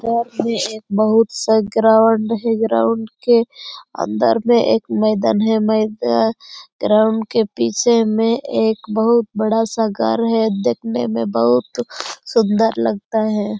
गांव में एक बहुत स ग्राउंड है ग्राउंड के अंदर में एक मैदान है मैदान ग्राउंड के पीछे में एक बहुत बड़ा सा घर है देखने में बहुत सुंदर लगता है।